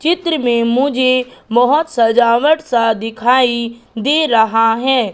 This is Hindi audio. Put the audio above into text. चित्र में मुझे बहोत सजावट सा दिखाई दे रहा है।